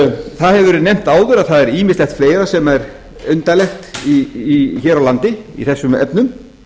það hefur verið nefnt áður að það er ýmislegt fleira sem er undarlegt hér á landi í þessum efnum